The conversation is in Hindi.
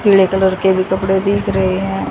पीले कलर के भी कपड़े दिख रहे हैं।